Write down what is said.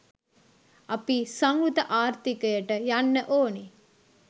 අපි සංවෘත ආර්ථිකයට යන්න ඕනේ